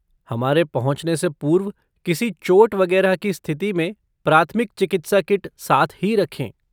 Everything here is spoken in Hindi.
हमारे पहुँचने से पूर्व किसी चोट वगैरह की स्थिति में प्राथमिक चिकित्सा किट साथ ही रखें।